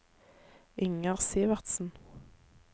Inger Sivertsen